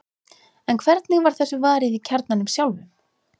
en hvernig var þessu varið í kjarnanum sjálfum